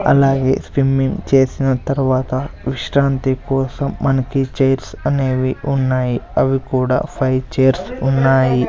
అలాగే స్విమ్మింగ్ చేసిన తర్వాత విశ్రాంతి కోసం మనకి చైర్స్ అనేవి ఉన్నాయి అవి కూడా ఫైవ్ చైర్స్ ఉన్నాయి.